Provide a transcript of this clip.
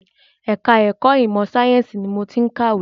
Ẹ̀ka ẹ̀kọ́ ìmọ sàyẹ̀nsì ni mo ti ń kàwé.